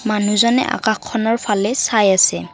মানুহজনে আকাশখনৰ ফালে চাই আছে।